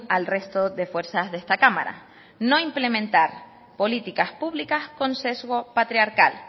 al resto de fuerzas de esta cámara no implementar políticas públicas con sesgo patriarcal